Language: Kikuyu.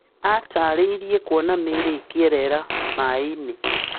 Atarĩrie kũona mĩĩri ĩkierera maĩinĩ